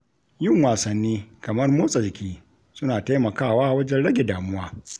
Yin wasanni kamar motsa jiki suna taimakawa wajen rage damuwa.